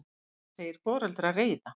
Hann segir foreldra reiða.